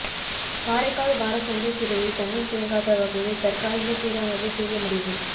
காரைக்கால் வாரச் சந்தைத் திடலில் தண்ணீா் தேங்காத வகையில் தற்காலிக சீரமைப்பை செய்ய முடிவு